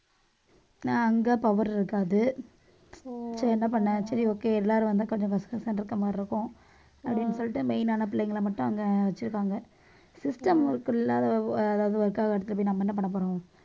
நான் அங்க power இருக்காது சரி என்ன பண்ண சரி okay எல்லாரும் வந்து கொஞ்சம் கசகச இருக்கற மாதிரி இருக்கும் அப்பிடின்னு சொல்லிட்டு main ஆன பிள்ளைங்களை மட்டும் அங்க வச்சிருக்காங்க system work இல்லாத அதாவது work காக எடுத்துட்டு போயி நம்ம என்ன பண்ண போறோம்